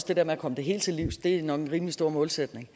det der med at komme det helt til livs er en rimelig stor målsætning